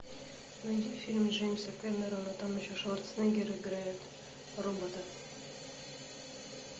найди фильм джеймса кэмерона там еще шварценеггер играет робота